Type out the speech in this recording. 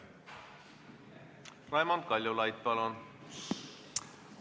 Raimond Kaljulaid, palun!